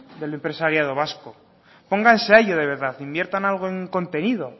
del empresariado vasco pónganse a ello de verdad invierta algo en contenido